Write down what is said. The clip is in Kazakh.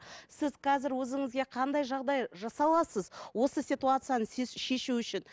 сіз қазір өзіңізге қандай жағдай жасай аласыз осы ситуацияны сіз шешу үшін